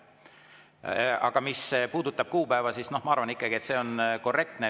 Aga mis puudutab kuupäeva, siis ma arvan ikkagi, et see on korrektne.